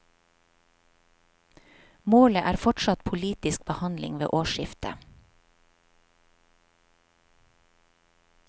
Målet er fortsatt politisk behandling ved årsskiftet.